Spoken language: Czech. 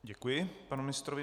Děkuji panu ministrovi.